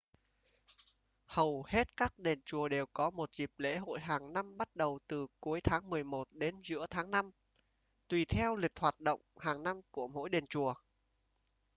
hầu hết các đền chùa đều có một dịp lễ hội hàng năm bắt đầu từ cuối tháng mười một đến giữa tháng năm tùy theo lịch hoạt động hàng năm của mỗi đền chùa